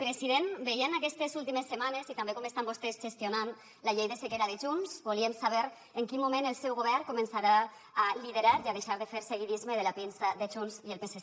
president veient aquestes últimes setmanes i també com estan vostès gestionant la llei de sequera de junts volíem saber en quin moment el seu govern començarà a liderar i a deixar de fer seguidisme de la pinça de junts i el psc